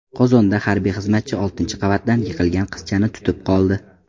Qozonda harbiy xizmatchi oltinchi qavatdan yiqilgan qizchani tutib qoldi.